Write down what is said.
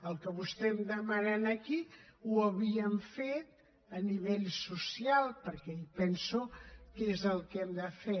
el que vostè em demana aquí ho havíem fet a nivell social perquè penso que és el que hem de fer